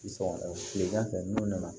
Sɔgɔ tilegan fɛ n'u nana